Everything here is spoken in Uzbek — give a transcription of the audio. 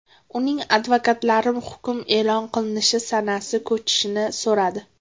Uning advokatlari hukm e’lon qilinishi sanasi ko‘chirishni so‘radi.